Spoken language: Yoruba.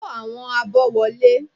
Kó àwọn abọ́ wọlé!